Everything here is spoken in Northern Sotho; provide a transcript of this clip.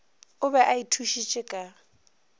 o be a ithušitše ka